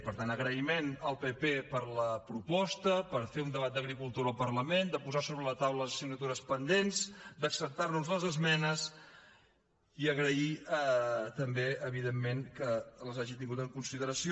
per tant agraïment al pp per la proposta per fer un debat d’agricultura al parlament de posar sobre la taula les assignatures pendents d’acceptar nos les esmenes i agrair també evidentment que les hagi tingut en consideració